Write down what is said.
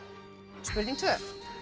spurning tvö